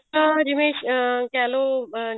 ਜਿਵੇਂ ਅਹ ਕਹਿਲੋ ਅਹ